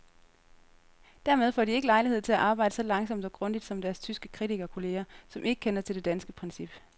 Dermed får de ikke lejlighed til at arbejde så langsomt og grundigt som deres tyske kritikerkolleger, som ikke kender til det danske princip.